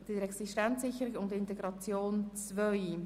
Wir kommen zum Themenblock 6.g Existenzsicherung und Integration II.